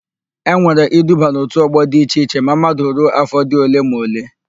E nwere iduba n'òtù ọ́gbọ̀ di iche iche ma mmadu ruo áfọ̀ dị ole ma ole.